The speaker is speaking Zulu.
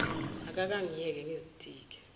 akake angiyeke ngizitike